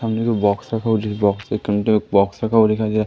सामने एक बॉक्स रखा हुआ जिस बॉक्स के अंदर बॉक्स रखा हुआ दिखाई दे रहा--